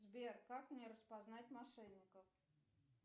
сбер как мне распознать мошенников